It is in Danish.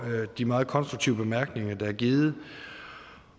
de meget konstruktive bemærkninger der er givet